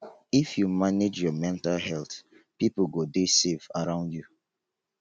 if you manage your mental health pipo go dey safe around you.